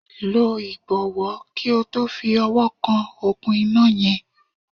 Lọ ìbọ̀wọ̀ kí o tó fi ọwọ́ kan òkun iná yẹn.